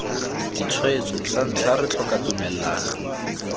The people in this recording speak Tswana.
ditshwetso santlha re tlhoka tumellano